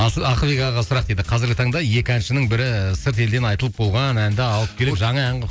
ақылбек ағаға сұрақ дейді қазіргі таңда екі әншінің бірі сырт елден айтылып болған әнді алып келеді жаңа ән қылып